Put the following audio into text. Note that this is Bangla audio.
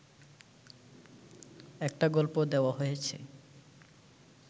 একটা গল্প দেওয়া হয়েছে